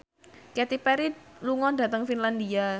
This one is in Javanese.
Katy Perry lunga dhateng Finlandia